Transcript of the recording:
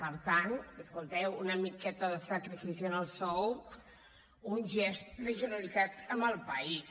per tant escolteu una miqueta de sacrifici en el sou un gest de generositat amb el país